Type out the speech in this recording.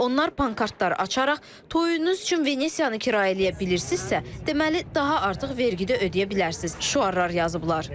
Onlar pankartlar açaraq, "Toyunuz üçün Venesiyanı kirayə eləyə bilirsinizsə, deməli daha artıq vergide ödəyə bilərsiniz" şüarlar yazıblar.